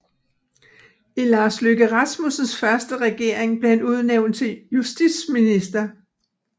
I Lars Løkke Rasmussens første regering blev han udnævnt til justitsminister